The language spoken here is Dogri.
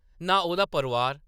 नां ओह्‌‌‌दा परोआर ।